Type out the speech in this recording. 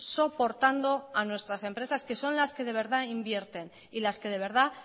soportando a nuestras empresas que son las que de verdad invierten y las que de verdad